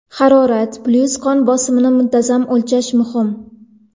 Harorat, puls va qon bosimini muntazam o‘lchash muhim.